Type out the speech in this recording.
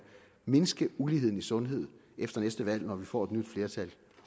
mindske uligheden i sundhed efter næste valg når vi får et nyt flertal